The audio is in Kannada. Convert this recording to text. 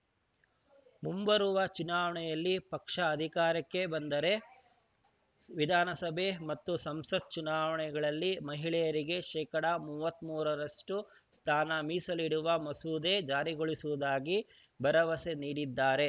ಮುಂಬರುವ ಚುನಾವಣೆಯಲ್ಲಿ ಪಕ್ಷ ಅಧಿಕಾರಕ್ಕೆ ಬಂದರೆ ವಿಧಾನಸಭೆ ಮತ್ತು ಸಂಸತ್‌ ಚುನಾವಣೆಗಳಲ್ಲಿ ಮಹಿಳೆಯರಿಗೆ ಶೇಕಡಾ ಮೂವತ್ತ್ ಮೂರರಷ್ಟುಸ್ಥಾನ ಮೀಸಲಿಡುವ ಮಸೂದೆ ಜಾರಿಗೊಳಿಸುವುದಾಗಿ ಭರವಸೆ ನೀಡಿದ್ದಾರೆ